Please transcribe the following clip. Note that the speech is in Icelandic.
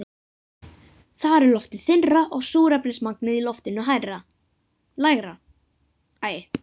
Þar er loftið þynnra og súrefnismagnið í loftinu lægra.